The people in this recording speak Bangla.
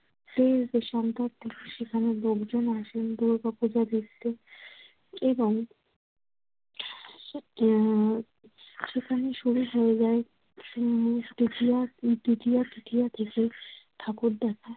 দেশ দেশান্তর থেকে সেখানে লোকজনও আসেন দুর্গাপুজো দেখতে এবং উম সেখানে শুরু হয়ে যায় উম দ্বিতীয়া ও তৃতীয়া থেকে। ঠাকুর দেখা